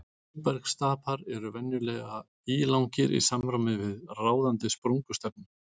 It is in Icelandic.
Móbergsstapar eru venjulega ílangir í samræmi við ráðandi sprungustefnu.